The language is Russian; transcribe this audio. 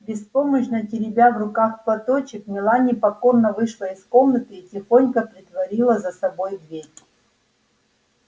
беспомощно теребя в руках платочек мелани покорно вышла из комнаты и тихонько притворила за собой дверь